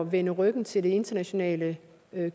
vende ryggen til det internationale